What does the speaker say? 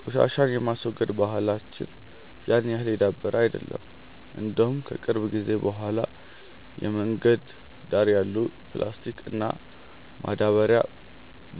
ቆሻሻን የማስወገድ ባህላች ያን ያህል የዳበረ አይደለም። እንደውም ከቅርብ ጊዜ በኋላ የመንገድ ዳር ያሉ ፕላስቲክ እና ማዳበርያ